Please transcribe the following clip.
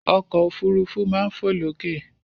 Ọkọ̀ òfurufú máa ń fo lókè.